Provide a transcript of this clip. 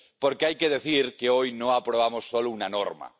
Porque hay que decir que hoy no aprobamos solo una norma.